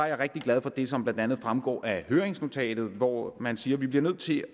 jeg rigtig glad for det som blandt andet fremgår af høringsnotatet hvor man siger at vi bliver nødt til